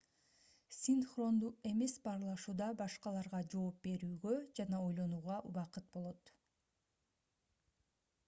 синхрондуу эмес баарлашууда башкаларга жооп берүүгө жана ойлонууга убакыт болот